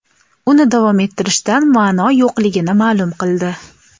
uni davom ettirishdan ma’no yo‘qligini ma’lum qildi.